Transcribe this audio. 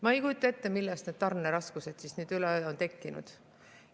Ma ei kujuta ette, millest need tarneraskused siis nüüd üleöö on tekkinud.